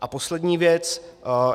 A poslední věc.